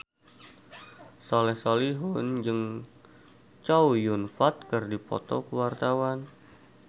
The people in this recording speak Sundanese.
Soleh Solihun jeung Chow Yun Fat keur dipoto ku wartawan